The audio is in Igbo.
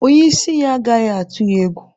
Onye isi ya agaghị atụ ya egwu.